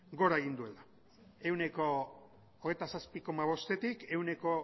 gora egin duela ehuneko hogeita zazpi koma bostetik ehuneko